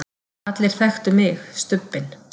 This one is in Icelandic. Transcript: allir þekktu mig, Stubbinn.